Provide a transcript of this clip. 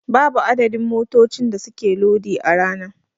Babu adadin motocin da suke lodi a rana.